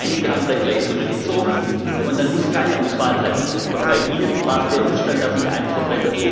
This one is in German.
Wir haben weit über zehn Wortmeldungen gehabt, einige haben dann gleich zurückgezogen, und dann muss ich eine Auswahl treffen.